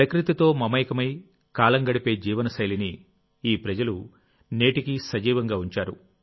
ప్రకృతితో మమేకమై కాలం గడిపే జీవనశైలిని ఈ ప్రజలు నేటికీ సజీవంగా ఉంచారు